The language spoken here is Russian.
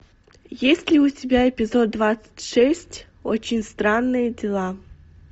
есть ли у тебя эпизод двадцать шесть очень странные дела